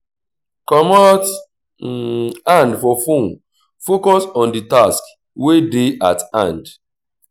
comot hand for phone focus on di task wey dey at hand